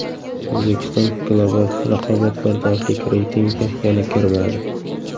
O‘zbekiston Global raqobatbardoshlik reytingiga yana kirmadi.